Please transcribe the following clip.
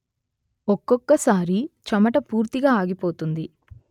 ఒక్కొక్కసారి చెమట పూర్తిగా ఆగిపోతుంది